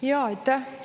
Jaa, aitäh!